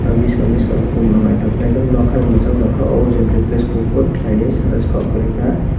biskang biskang kom rok naitoka bai muchang tangkha o jayanta place kopor kelai oe sana si kok koroi ka.